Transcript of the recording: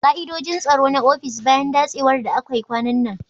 Bincika da sabunta ka'idojin tsaro na ofis bayan datsewar da akai kwanan nan.